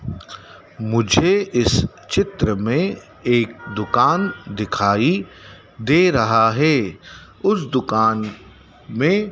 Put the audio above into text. मुझे इस चित्र में एक दुकान दिखाई दे रहा है उस दुकान में--